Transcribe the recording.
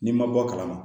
N'i ma bɔ a kalama